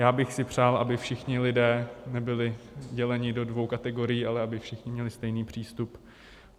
Já bych si přál, aby všichni lidé nebyli děleni do dvou kategorií, ale aby všichni měli stejný přístup.